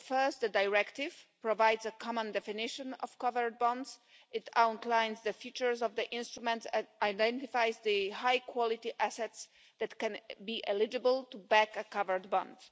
So, first the directive provides a common definition of covered bonds. It outlines the features of the instruments and it identifies the high quality assets that can be eligible to back a covered bond.